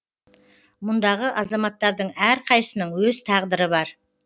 мұндағы азаматтардың әрқайсысының өз тағдыры бар